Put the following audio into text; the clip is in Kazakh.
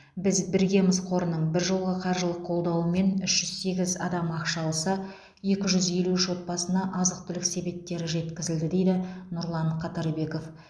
біз біргеміз қорының біржолғы қаржылық қолдауымен үш жүз сегіз адам ақша алса екі жүз елу үш отбасына азық түлік себеттері жеткізілді дейді нұрлан қатарбеков